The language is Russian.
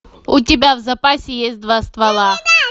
у тебя в запасе есть два ствола